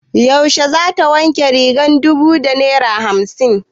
Yaushe za ta wanke rigar dubu da naira hamsin?